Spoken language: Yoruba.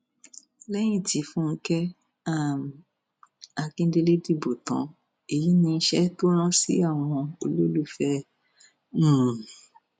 lẹyìn tí fúnkẹ um akíndélé dìbò tán èyí níṣẹ tó rán sí àwọn olólùfẹ ẹ um